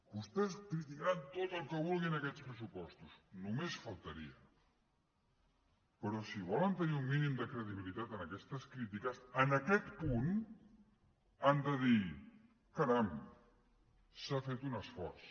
vostès criticaran tot el que vulguin aquests pressupostos només faltaria però si volen tenir un mínim de credibilitat en aquestes crítiques en aquest punt han de dir caram s’ha fet un esforç